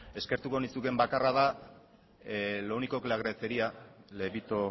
eskertuko nizukeen bakarra da lo único que le agradecería le evito